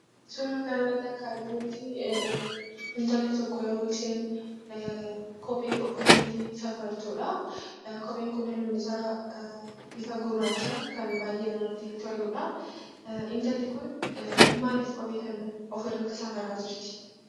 Suuraa kanarratti akka arginutti, intalli tokko yeroo isheen kophee ofirratti safartudha. Kopheen kunis lukni isaa bifa gurraachaa kan baayyee namatti toludha. Intalli Kuni maaliif kophee ofirratti safaraa jirti ?